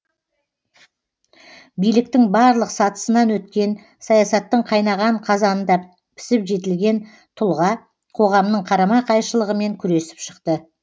биліктің барлық сатысынан өткен саясаттың қайнаған қазанында пісіп жетілген тұлға қоғамның қарама қайшылығымен күресіп шықты